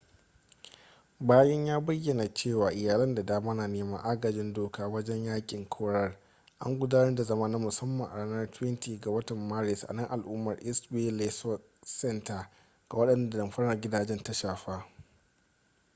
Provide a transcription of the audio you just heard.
bayan ya bayyana cewa iyalai da dama na neman agajin doka wajen yakin korar an gudanar da zama na musamman a ranar 20 ga watan maris a nan al'umar east bay law center ga wadanda damfarar gidaje ta shafa